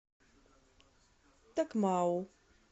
такмау